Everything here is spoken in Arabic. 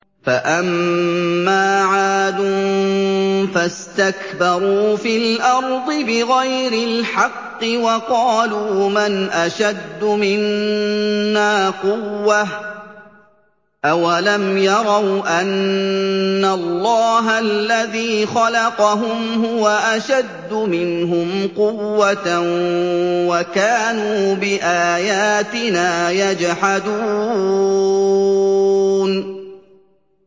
فَأَمَّا عَادٌ فَاسْتَكْبَرُوا فِي الْأَرْضِ بِغَيْرِ الْحَقِّ وَقَالُوا مَنْ أَشَدُّ مِنَّا قُوَّةً ۖ أَوَلَمْ يَرَوْا أَنَّ اللَّهَ الَّذِي خَلَقَهُمْ هُوَ أَشَدُّ مِنْهُمْ قُوَّةً ۖ وَكَانُوا بِآيَاتِنَا يَجْحَدُونَ